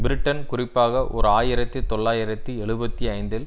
Britain குறிப்பாக ஓர் ஆயிரத்தி தொள்ளாயிரத்தி எழுபத்தி ஐந்தில்